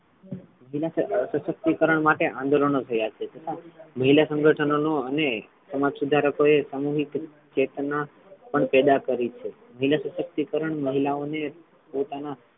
મહિલા સશક્તિકરણ માટે આંદોલનો થયા છે છતા મહિલા સંગઠનો નો અને સમાજ સુધારકો એ સામુહિક ચેતના પણ પેદા કરી છે મહિલા સશક્તિકરણ મહિલાઓ ને પોતાના,